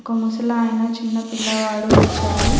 ఒక ముసలాయన చిన్న పిల్లవాడు వచ్చారు.